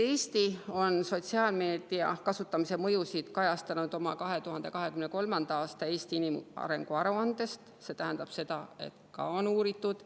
Eesti on sotsiaalmeedia kasutamise mõjusid kajastanud 2023. aasta inimarengu aruandes, see tähendab, et seda on ka uuritud.